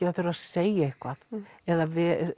það þurfi að segja eitthvað eða